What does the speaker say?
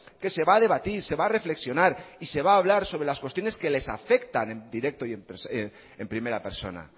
que se va a debatir se va a reflexionar y se va a hablar sobre las cuestiones que les afectan en directo y en primera persona